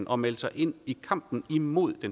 og melde sig ind i kampen imod